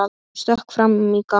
Hún stökk fram í gang.